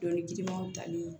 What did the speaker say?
Dɔnkili girimanw tali